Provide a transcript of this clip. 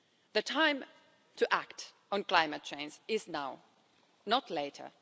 The time to act on climate change is now, not later.